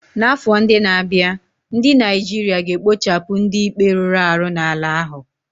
N'afọ ndị na-abịa, ndị Naijiria ga-ekpochapụ ndị ikpe rụrụ arụ n'ala ahụ.